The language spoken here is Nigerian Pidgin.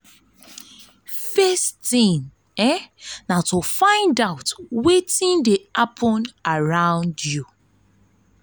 first tin na to na to find out wetin dey happen around you.